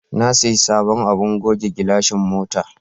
Na sayi sabon abin goge gilashin mota.